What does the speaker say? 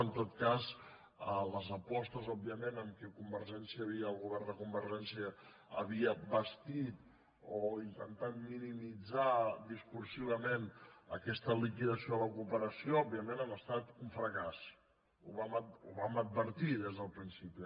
en tot cas les apostes òbviament amb qui el govern de convergència havia bastit o intentat minimitzar discursivament aquesta liquidació de la cooperació òbviament han estat un fracàs ho vam advertir des del principi